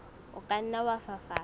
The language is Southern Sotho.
o ka nna wa fafatsa